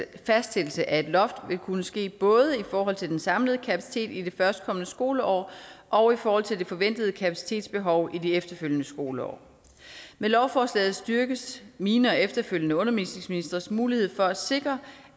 fastsættelse af et loft vil kunne ske både i forhold til den samlede kapacitet i det førstkommende skoleår og i forhold til det forventede kapacitetsbehov i det efterfølgende skoleår med lovforslaget styrkes mine og efterfølgende undervisningsministres mulighed for at sikre